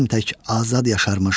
Tək Azad yaşarmış.